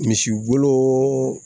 Misi bolon